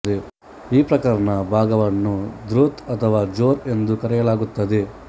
ಈ ಪ್ರಕರಣ ಭಾಗ ವನ್ನು ದ್ರುತ್ ಅಥವಾ ಜೋರ್ ಎಂದು ಕರೆಯಲಾಗುತ್ತದೆ